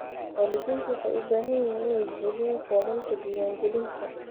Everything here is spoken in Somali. Waalidiintu waxay u baahan yihiin inay buuxiyaan foomamka diiwaangelinta.